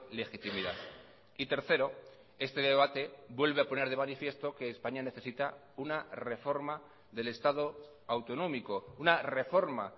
legitimidad y tercero este debate vuelve a poner de manifiesto que españa necesita una reforma del estado autonómico una reforma